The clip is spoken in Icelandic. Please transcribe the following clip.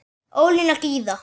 Ólína Gyða.